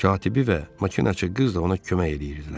Katibi və makinaçı qız da ona kömək eləyirdilər.